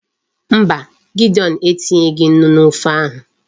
Mba, Gideon etinyeghi Nnu n'ofe ahu